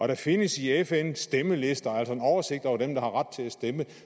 der findes i fn stemmelister altså en oversigt over dem der har ret til at stemme